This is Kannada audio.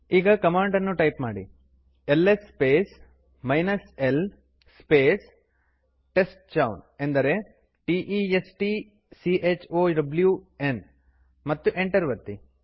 ಈಗ ಕಮಾಂಡ್ ನ್ನು ಟೈಪ್ ಮಾಡಿ LS space l space testchown ಅಂದರೆ t e s t c h o w ನ್ ಮತ್ತು ಎಂಟರ್ ಒತ್ತಿರಿ